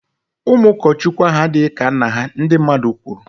Ụmụ ụkọchukwu ahụ adịghị ka nna ha, ndi mmadụ kwuru